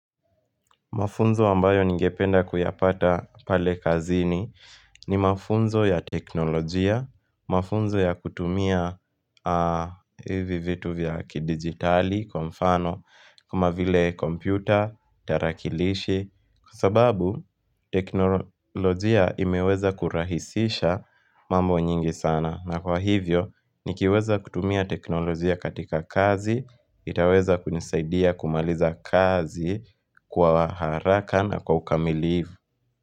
Mafunzo ambayo ningependa kuyapata pale kazini ni mafunzo ya teknolojia, mafunzo ya kutumia hivi vitu vya kidigitali, kwa mfano, kama vile kompyuta, tarakilishi Kwa sababu teknolojia imeweza kurahisisha mambo nyingi sana na kwa hivyo nikiweza kutumia teknolojia katika kazi itaweza kunisaidia kumaliza kazi kwa haraka na kwa ukamilivu.